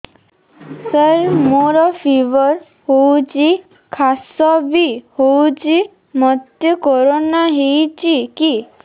ସାର ମୋର ଫିବର ହଉଚି ଖାସ ବି ହଉଚି ମୋତେ କରୋନା ହେଇଚି କି